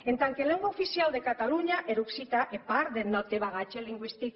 en tant que lengua oficiau de catalonha er occitan hè part deth nòste bagatge lingüistic